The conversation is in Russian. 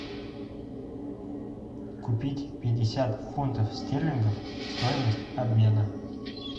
купить пятьдесят фунтов стерлингов стоимость обмена